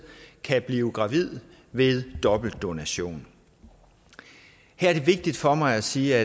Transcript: kan blive gravide ved dobbeltdonation her er det vigtigt for mig at sige